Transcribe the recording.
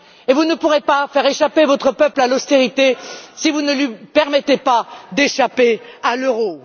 Vous ne pourrez pas faire échapper votre peuple à l'austérité si vous ne lui permettez pas d'échapper à l'euro.